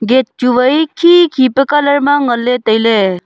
gate chu wai khi khi pa colour ma ngan ley tai ley.